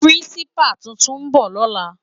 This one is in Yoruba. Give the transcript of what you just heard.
Pirinsipá tútún bò lòlá